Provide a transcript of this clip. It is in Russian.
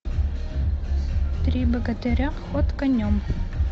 три богатыря ход конем